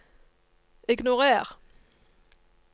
ignorer